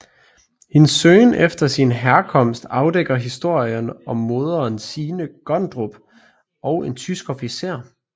Hendes søgen efter sin herkomst afdækker historien om moderen Signe Gondrup og en tysk officer